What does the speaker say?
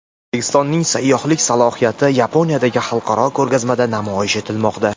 O‘zbekistonning sayyohlik salohiyati Yaponiyadagi xalqaro ko‘rgazmada namoyish etilmoqda.